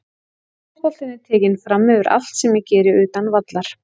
Fótboltinn er tekinn framyfir allt sem ég geri utan vallar.